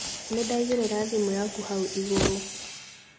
Nĩndaigĩrĩra thimũ yaku hau igũrũ